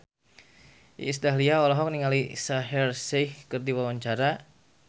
Iis Dahlia olohok ningali Shaheer Sheikh keur diwawancara